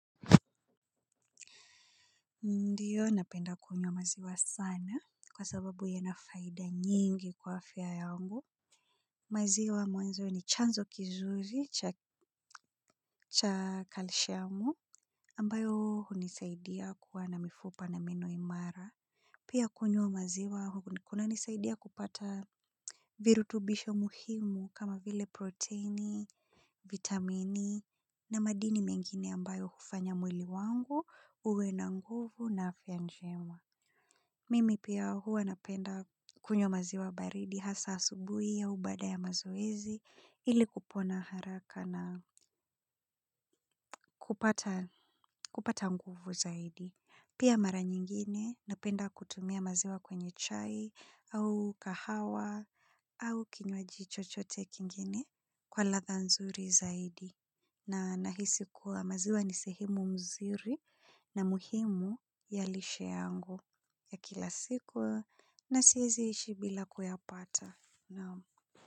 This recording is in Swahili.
Ndio, napenda kunywa maziwa sana kwa sababu yana faida nyingi kwa afya yangu. Maziwa mwanzo ni chanzo kizuri cha kalshiamu ambayo hunisaidia kuwa na mifupa na meno imara. Pia kunywa maziwa kunanisaidia kupata virutubisho muhimu kama vile proteini, vitamini na madini mengine ambayo hufanya mwili wangu uwe na nguvu na afya njema. Mimi pia huwa napenda kunywa maziwa baridi hasa asubuhi au baada ya mazoezi ili kupona haraka na kupata nguvu zaidi. Pia mara nyingine napenda kutumia maziwa kwenye chai au kahawa au kinywaji chochote kingine kwa ladha nzuri zaidi. Na nahisi kuwa maziwa ni sehemu mzuri na muhimu ya lishe yangu ya kila siku na siwezi ishi bila kuyapata.